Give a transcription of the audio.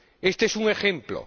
Este es un ejemplo.